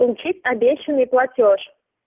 получить обещанный платёж